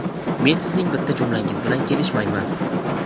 Men sizning bitta jumlangiz bilan kelishmayman.